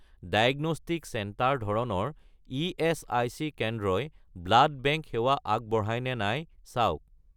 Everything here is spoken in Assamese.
ডায়েগনষ্টিক চেণ্টাৰ ধৰণৰ ইএচআইচি কেন্দ্ৰই ব্লাড বেংক সেৱা আগবঢ়ায় নে নাই চাওক